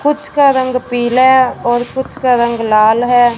कुछ का रंग पीला और कुछ का रंग लाल है।